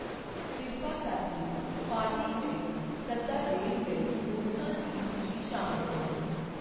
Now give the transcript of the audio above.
ਕਿਰਪਾ ਕਰਕੇ ਪਾਰਟੀ ਲਈ ਸੱਦਾ ਦੇਣ ਲਈ ਦੋਸਤਾਂ ਦੀ ਸੂਚੀ ਸ਼ਾਮਲ ਕਰੋ